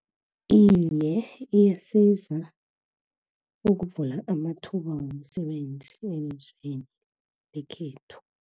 Iye, iyasiza ukuvula amathuba womsebenzi, elizweni lekhethu.